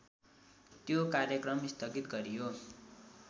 त्यो कार्यक्रम स्थगित गरियो।